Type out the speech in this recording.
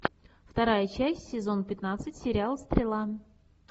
вторая часть сезон пятнадцать сериал стрела